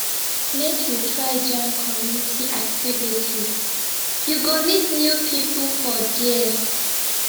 make you try join community activities you go meet new pipo for there